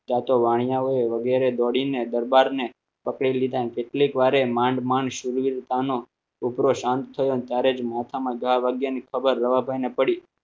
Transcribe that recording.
વગેરે દોડીને દરબારને પકડી લીધા કેટલીક વાર એ માંડ માણસ સુરવીરતાનો છોકરો શાંત થયો ત્યારે જ મોથામાં જવા લાગ્યા ની ખબર રવાભાઈને પડી